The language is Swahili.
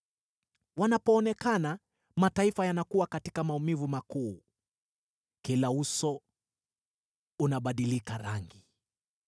Wanapoonekana, mataifa yanakuwa katika maumivu makuu; kila uso unabadilika rangi.